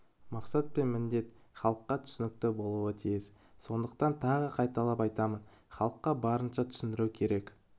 мақсат пен міндет халыққа түсінікті болуы тиіс сондықтан тағы қайталап айтамын халыққа барынша түсіндіру керек